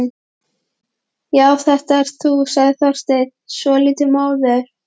Já, þetta ert þú sagði Þorsteinn, svolítið móður.